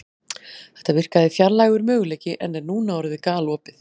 Þetta virkaði fjarlægur möguleiki en er núna orðið galopið.